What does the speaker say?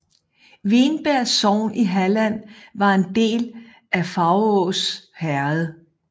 Vinberg sogn i Halland var en del af Faurås herred